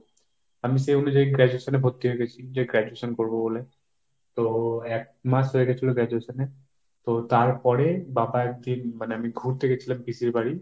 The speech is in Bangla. আমি সেই অনুযায়ী graduation এ ভর্তি হয়ে গেছি। যে graduation করব বলে, তো এক মাস হয়ে গেছিল graduation এর। তো তারপরে বাবা একদিন, মানে আমি ঘুরতে গিয়েছিলাম পিসির বাড়ি।